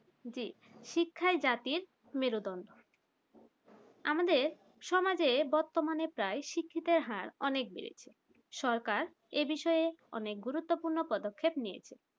জি শিক্ষায় জাতির মেরুদন্ড আমাদের সমাজে বর্তমানে প্রায় শিক্ষিতের হার অনেক বেড়েছে সরকার এ বিষয়ে অনেক গুরুত্বপূর্ণ পদক্ষেপ নিয়েছে